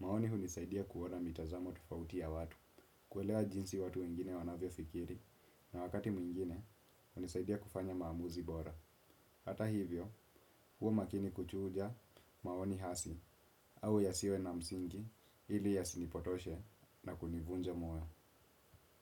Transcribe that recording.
maoni hunisaidia kuona mitazamo tufauti ya watu. Kuelewa jinsi watu wengine wanavyo fikiri na wakati mwingine hunisaidia kufanya maamuzi bora. Hata hivyo, huwa makini kuchuja maoni hasi, au yasiwe na msingi, ili yasinipotoshe na kunivunja moyo.